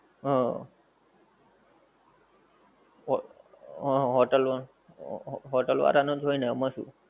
હ હ hotel વાળા hotel વાળા નોજ હોએ ને આમાં શું